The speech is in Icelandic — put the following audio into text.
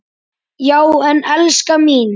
Já en, elskan mín.